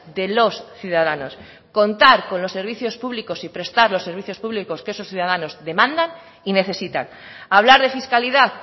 de los ciudadanos contar con los servicios públicos y prestar los servicios públicos que esos ciudadanos demandan y necesitan hablar de fiscalidad